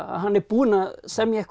hann er búinn að semja eitthvað